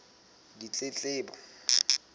ditletlebo